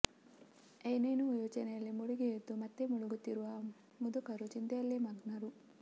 ಏನೇನೋ ಯೋಚನೆಯಲ್ಲಿ ಮುಳುಗಿ ಎದ್ದು ಮತ್ತೆ ಮುಳುಗುತ್ತಿರುವ ಮುದುಕರು ಚಿಂತೆಯಲ್ಲೇ ಮಗ್ನರು